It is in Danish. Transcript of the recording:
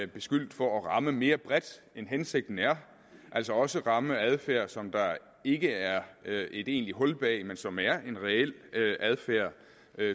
beskyldt for at ramme mere bredt end hensigten er altså også ramme adfærd som der ikke er et egentligt hul bag men som er en reel adfærd